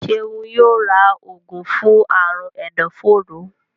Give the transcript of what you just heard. Seun yóò rà oògùn fún Àrùn ẹdọforó